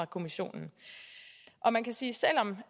kommissionen man kan sige